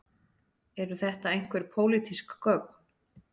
Eru þetta einhver pólitísk gögn